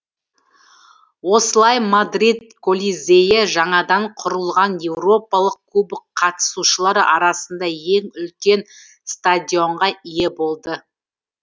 осылай мадрид коллизейі жаңадан құрылған еуропалық кубок қатысушылар арасында ең үлкен стадионға ие болды